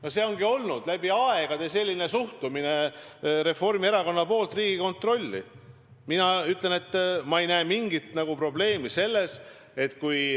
" Selline ongi olnud läbi aegade Reformierakonna suhtumine Riigikontrolli.